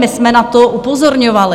My jsme na to upozorňovali.